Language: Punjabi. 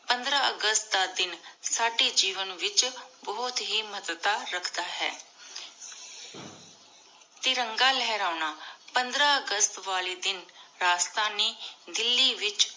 ਪੰਦਰਾਂ ਅਗਸਤ ਦਾ ਦਿਨ ਸਾਡੀ ਜੀਵਨ ਵਿਚ ਬੁਹਤ ਹੇ ਮਹਤਤਾ ਰਖਦਾ ਹੈ। ਤਿਰੰਗਾ ਲੇਹ੍ਰਾਨਾ-ਪੰਦਰਾਂ ਅਗਸਤ ਵਾਲੀ ਦਿਨ ਰਾਜਥਾਨੀ ਦਿੱਲੀ ਵਿਚ